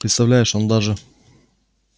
представляешь он даже